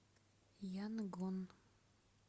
янгон